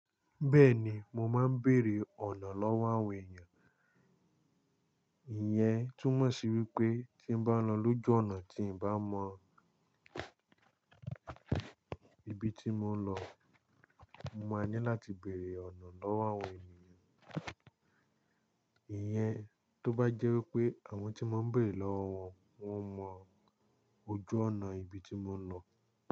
Bẹ́ẹ̀ni, mo máa ń bèèrè ọ̀nà lọ́wọ́ àwọn èèyàn. Ìyẹn, túmọ̀ sí wípé tí bá lọ lójú ọ̀nà tí n bá mọ ibi tí mò ń lọ, mo máa ní láti bèèrè ọ̀nà lọ́wọ́ àwọn ènìyàn. Ìyẹn, tó bá jẹ́ wípé àwọn tí mò ń bèèrè lọ́wọ́ wọn, wọ́n mọ ojú ọ̀nà ibi tí mò ń lọ.